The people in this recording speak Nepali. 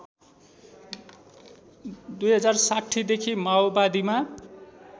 ०६० देखि माओवादीमा